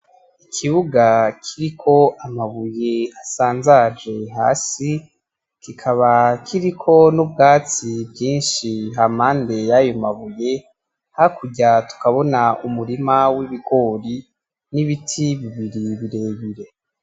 Ikibuga kiriko amabuye asanzaje hasi kikaba kiriko nubwatsi bwinshi hampande yayo mabuye hakurya tukabona umurima wibigori nibiti bibiri birebire.